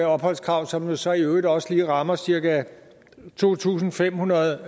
opholdskrav som jo så i øvrigt også lige rammer cirka to tusind fem hundrede